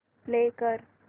play कर